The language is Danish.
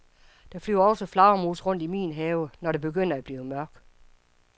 Der flyver også flagermus rundt i min have, når det begynder at blive mørkt.